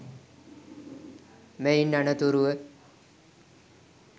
මෙයින් අනතුරුව